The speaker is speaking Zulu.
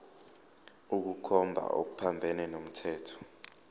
ukukhomba okuphambene nomthetho